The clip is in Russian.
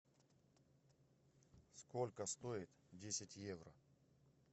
сколько стоит десять евро